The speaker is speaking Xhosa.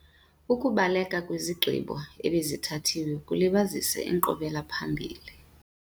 Ukubaleka kwizigqibo ebezithathiwe kulibazisa inkqubela phambili.